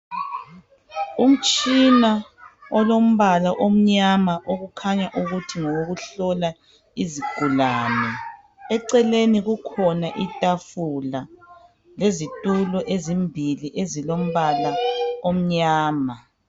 Umtshina olombala omnyama okukhanya ukuthi ngowokuhlola izigulane, eceleni kukhona itafula lezitulo ezimbili ezilombala omnyama.